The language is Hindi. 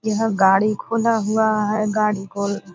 यह गाड़ी खुला हुआ है। गाड़ी को --